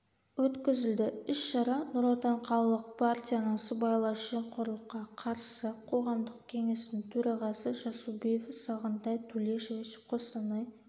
өткізілді іс-шара нұр-отан қалалық парияның сыбайлас жемқорлыққа қарсы қоғамдық кеңестің төрағасы жасубиев сагынтай тулешевич қостанай